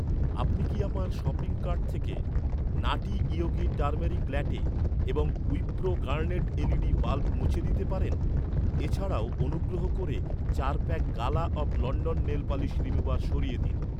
আপনি কি আমার শপিং কার্ট থেকে নাটি ইয়োগি টারমেরিক ল্যাটে এবং উইপ্রো গার্নেট এলইডি বাল্ব মুছে দিতে পারেন? এছাড়াও, অনুগ্রহ করে চার pack Gala of London nail polish remover সরিয়ে দিন।